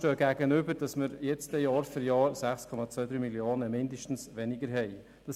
Demgegenüber steht, dass wir künftig Jahr für Jahr mindestens 6,23 Mio. Franken weniger haben werden.